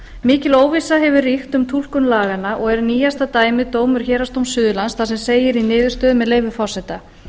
mikil óvissa hefur ríkt um túlkun laganna og er nýjasta dæmið dómur héraðsdóms suðurlands þar sem segir í niðurstöðu með leyfi forseta